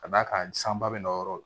Ka d'a kan sanba bɛ n'o yɔrɔ la